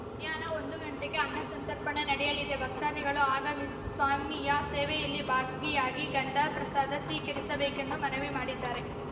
ಮಧ್ಯಾಹ್ನ ಒಂದು ಗಂಟೆಗೆ ಅನ್ನಸಂತರ್ಪಣೆ ನಡೆಯಲಿದೆ ಭಕ್ತಾದಿಗಳು ಆಗಮಿಸಿ ಸ್ವಾಮಿಯ ಸೇವೆಯಲ್ಲಿ ಭಾಗಿಯಾಗಿ ಗಂಧ ಪ್ರಸಾದ ಸ್ವೀಕರಿಸಬೇಕೆಂದು ಮನವಿ ಮಾಡಿದ್ದಾರೆ